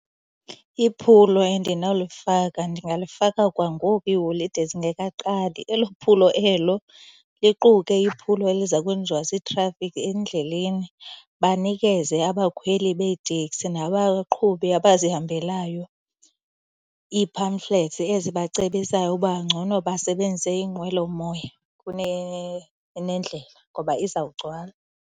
Iphulo endinawulifaka ndingalifaka kwangoku iiholide zingekaqali. Elo phulo elo liquke iphulo eliza kwenziwa ziitrafikhi endleleni. Banikeze abakhweli beetekisi nabaqhubi abazihambelyo ii-pamphlets ezibacebisayo uba ngcono basebenzise iinqwelomoya kunendlela ngoba izawugcwala.